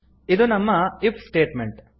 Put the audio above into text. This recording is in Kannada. ಇದು ನಮ್ಮ ಇಫ್ ಸ್ಟೇಟ್ಮೆಂಟ್